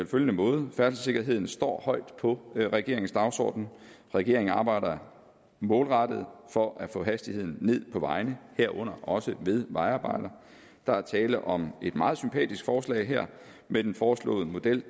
følgende måde færdselssikkerheden står højt på regeringens dagsorden regeringen arbejder målrettet for at få hastigheden ned på vejene herunder også ved vejarbejder der er tale om et meget sympatisk forslag her men den foreslåede model